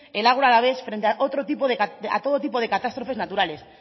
el agro alavés frente a otro tipo de catástrofes naturales